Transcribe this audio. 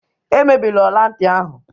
Emebila ọla ntị ahụ!